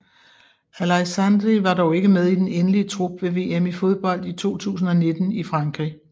Aleixandri var dog ikke med i den endelige trup ved VM i fodbold 2019 i Frankrig